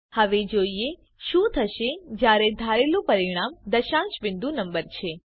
હવે જોઈએ શું થશે જયારે ધારેલું પરિણામ દશાંશ બિંદુ નંબર છે